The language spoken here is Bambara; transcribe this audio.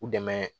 U dɛmɛ